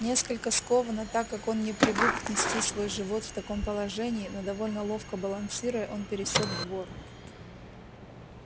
несколько скованно так как он не привык нести свой живот в таком положении но довольно ловко балансируя он пересёк двор